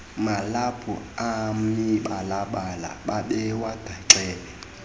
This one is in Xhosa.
malaphu amibalabala babewagaxele